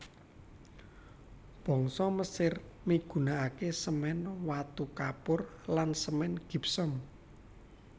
Bangsa Mesir migunakaké semèn watu kapur lan semèn gipsum